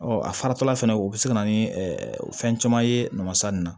Ɔ a faratɔla fana u bɛ se ka na ni fɛn caman ye nɔnɔmasa ninnu na